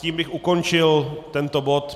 Tím bych ukončil tento bod.